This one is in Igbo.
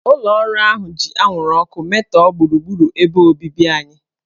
Ụlọ ọrụ ahụ ji anwụrụ ọkụ metọọ gburugburu ebe obibi anyị.